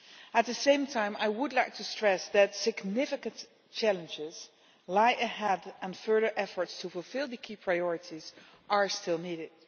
At the same time, I would like to stress that significant challenges lie ahead and further efforts to fulfil the key priorities are still needed.